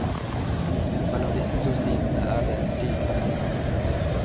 Mellom disse to sidene er det en dyp konflikt.